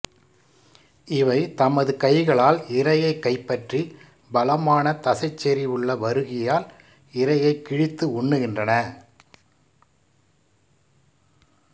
இவை தமது கைகளால் இரையைக் கைப்பற்றி பலமான தசைச்செறிவுள்ள வறுகியால் இரையைக் கிழித்து உண்கின்றன